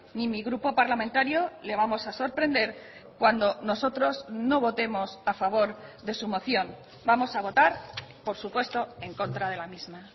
ni mi grupo parlamentario le vamos a sorprender cuando nosotros no votemos a favor de su moción vamos a votar por supuesto en contra de la misma